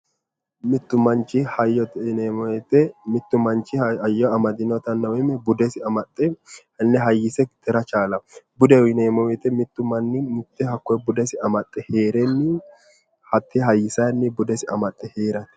mittu manchi hayyote yineemmo woyte mittu machi hayyo amadinota woy budesi amaxxe hayyise tira chaalawo budeho yineemmo mittu manni amaxxe hayyisenni bude amaxxe heerate